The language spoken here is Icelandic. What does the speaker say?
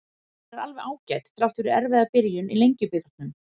Hún er alveg ágæt, þrátt fyrir erfiða byrjun í Lengjubikarnum.